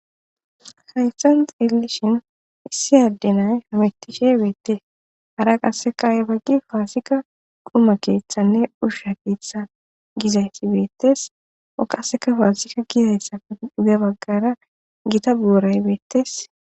Hayan xeelishin issi addenay hamitishe beette hara qasseka 7e baggi faasika quma keeththanne dhushsha keetha gizayti beettes o qaseka faasika gizayssape dhuge baggara gita buuray beettes